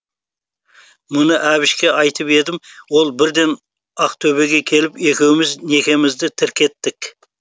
мұны әбішке айтып едім ол бірден ақтөбеге келіп екеуміз некемізді тіркеттік